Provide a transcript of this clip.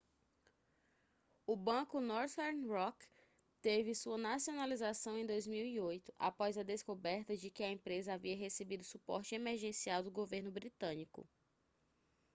o banco northern rock teve sua nacionalização em 2008 após a descoberta de que a empresa havia recebido suporte emergencial do governo britânico